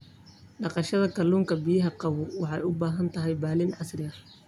Dhaqashada kalluunka biyaha qabow waxay u baahan tahay balli casri ah.